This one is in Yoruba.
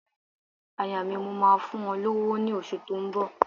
Aya mi, mò máa fún ọ lówó ní oṣù tó ń bọ̀.